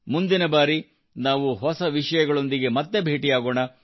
ಮುಂದಿನ ಬಾರಿ ನಾವು ಹೊಸ ವಿಷಯಗಳೊಂದಿಗೆ ಮತ್ತೆ ಭೇಟಿಯಾಗೋಣ